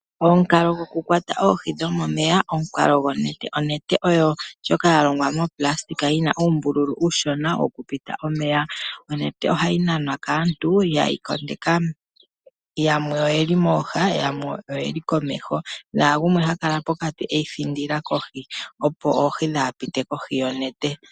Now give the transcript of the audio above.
Omukalo gwokukwata oohi dhomomeya omukalo gonete. Onete oyo ndjoka yalongwa mufagalala yina uumbulu uushona wokupita omeya. Onete ohayi nanwa kaantu yehi kondeka yamwe oyeli mooha yamwe oyeli komeho nagumwe hakala pokati eyi thindila kohi opo oohi kadhi pite kohi yonete.